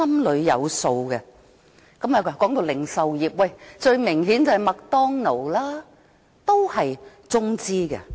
談到零售業，最明顯的例子是麥當勞，也是中資的。